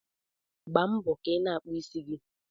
Gbaa mbo ka ịna akpụ ịsị gi